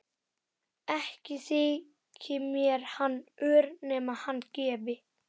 Ekki þyki mér hann ör nema hann gefi.